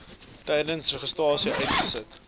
tydens registrasie uiteengesit